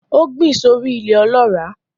Ó gbìn sórí I ilẹ̀ ọlọ́ràá